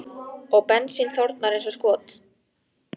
Og bensín þornar eins og skot.